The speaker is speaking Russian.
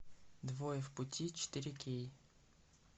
двое в пути четыре кей